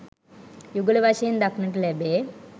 යුගල වශයෙන් දක්නට ලැබේ.